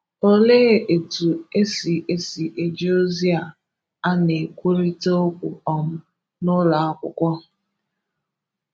Olee etu esi esi eji ozi a na-ekwurịta okwu um n'ụlọakwụkwọ?